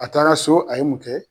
A taara so a ye mun kɛ